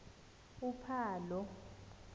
uphalo